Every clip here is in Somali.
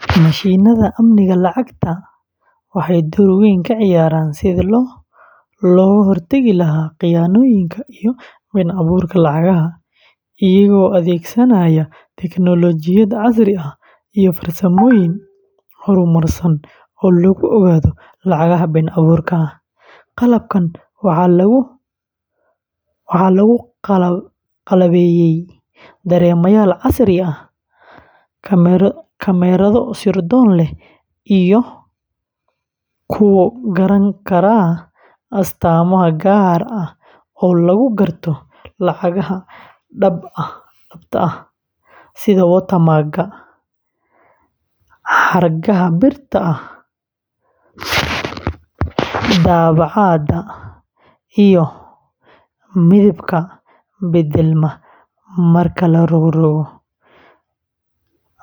Mashiinnada amniga lacagta waxay door weyn ka ciyaaraan sidii loo hortagi lahaa khiyaanooyinka iyo been-abuurka lacagaha, iyagoo adeegsanaya tignoolajiyad casri ah iyo farsamooyin horumarsan oo lagu ogaado lacagaha been-abuurka ah. Qalabkan waxaa lagu qalabeeyay dareemayaal casri ah, kamarado sirdoon leh, iyo kuwakalo oo garan kara astaamo gaar ah oo lagu garto lacag dhab ah sida watermark-ka, xargaha birta ah, daabacaadda microprint, iyo midabka beddelma marka la rogrogo.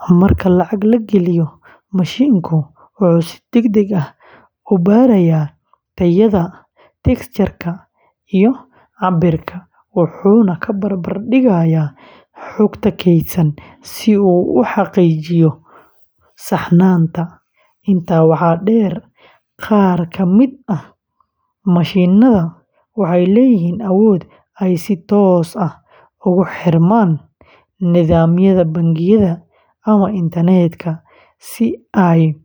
Marka lacag la geliyo, mashiinku wuxuu si degdeg ah u baarayaa tayada, texture-ka, iyo cabbirka, wuxuuna la barbardhigayaa xogta keydsan si uu u xaqiijiyo saxnaanta. Intaa waxaa dheer, qaar ka mid ah mashiinnada waxay leeyihiin awood ay si toos ah ugu xirmaan nidaamyada bangiyada ama internet-ka si ay u helaan xog cusub.